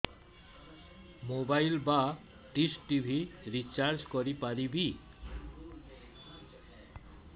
mobile ବା dish TV recharge କରି ପାରିବି